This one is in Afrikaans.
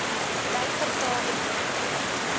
dui vertaalde weergawe